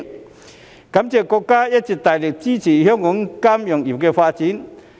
我感謝國家一直大力支持香港金融業發展。